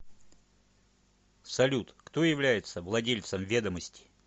салют кто является владельцем ведомости